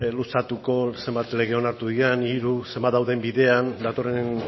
luzatuko zenbat lege onartu diren hiru zenbat dauden bidean datorren